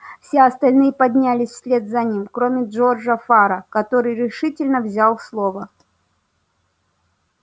все остальные поднялись вслед за ним кроме джорджа фара который решительно взял слово